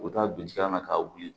U bɛ taa don jikalama ka wuli